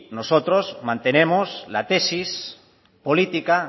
nosotros mantenemos la tesis política